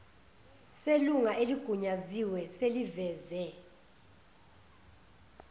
selunga eligunyaziwe seliveze